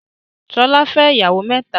Ṣọlá fẹ́ ìyàwó mẹ́ta.